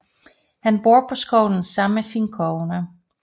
Han bor på skolen sammen med sin kone